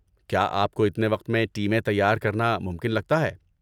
کیا آپ کو اتنے وقت میں ٹیمیں تیار کرنا ممکن لگتا ہے؟